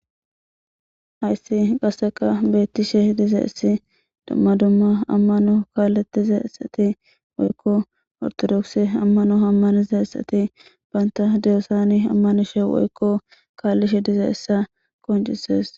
Hayssi qasseka beettishe dize issi dumma dumma ammano kaalletize esati woykko ortodokse ammano hammanize essati baynta deyosani ammanishe woykko kaallishe dize essa koncises.